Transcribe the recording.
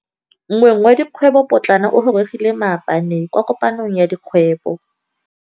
Moêng wa dikgwêbô pôtlana o gorogile maabane kwa kopanong ya dikgwêbô.